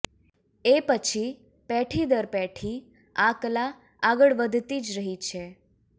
એ પછી પેઢી દર પેઢી આ કલા આગળ વધતી જ રહી છે